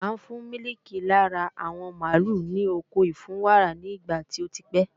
À ń fún mílìkì lára àwọn mààlúù ní oko ìfúnwàrà nígbà tí o pè